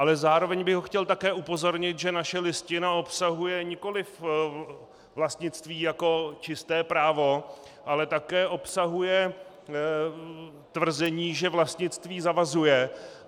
Ale zároveň bych ho chtěl také upozornit, že naše Listina obsahuje nikoliv vlastnictví jako čisté právo, ale také obsahuje tvrzení, že vlastnictví zavazuje.